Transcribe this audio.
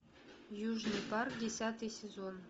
южный парк десятый сезон